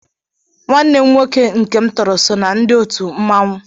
Nwanne m nwoke nke m tọrọ so na ndi otu mmanwụ.